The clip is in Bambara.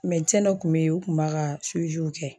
Mɛdesɛn dɔ kun be yen o kun b'a ka siwiw kɛ